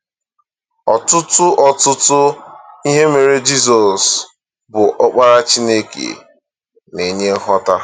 Ọtụtụ Ọtụtụ ihe mere Jizọs, bụ Ọkpara Chineke, na-enye nghọta.